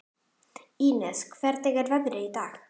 Ínes, hvernig er veðrið í dag?